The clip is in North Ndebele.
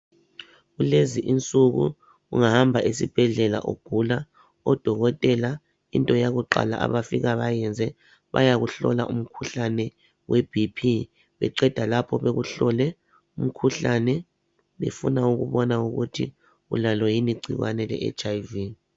Kulezi insuku ungahamba esibhendlela ugula odokontela into yokuqala bayinyenze bayakuhlola umkhuhlane webhiphi beqeda lapho beku hlole umkhuhlane befuna kubona ukuthi ulalo ngini incikwane le etshayivi